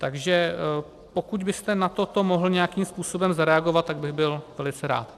Takže pokud byste na toto mohl nějakým způsobem zareagovat, tak bych byl velice rád.